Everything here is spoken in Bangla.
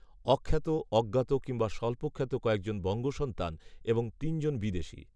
অখ্যাত, অজ্ঞাত কিংবা স্বল্পখ্যাত কয়েকজন বঙ্গসন্তান, এবং তিনজন বিদেশি